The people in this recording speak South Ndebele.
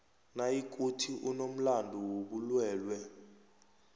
nayikuthi unomlando wobulwelwe